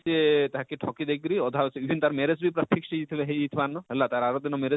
ସେ ତାହାକେ ଠକି ଦେଇ କରି ଅଧା ସେ ଯେନ ତାର marriage ଭି ପୁରା ତାର fix ହେଇ ଯେଇ ଥିଲେ ହେଇ ଥିବା ନ ହେଲା ତାର ଆର ଦିନ marriege